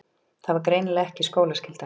Það var greinilega ekki skólaskylda.